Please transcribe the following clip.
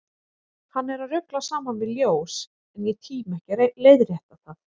Hann er að rugla saman við ljós, en ég tími ekki að leiðrétta það.